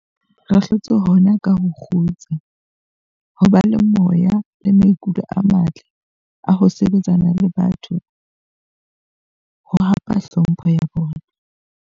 Ke hlotse hona ka ho kgutsa, ho ba le moya le maikutlo a matle a ho sebetsana le batho ho hapa tlhompho ya bona.